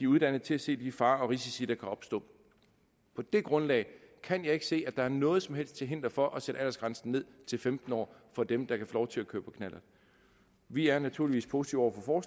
uddannet til at se de farer og risici der kan opstå på det grundlag kan jeg ikke se at der er noget som helst til hinder for at sætte aldersgrænsen ned til femten år for dem der kan få lov til at køre på knallert vi er naturligvis positive over for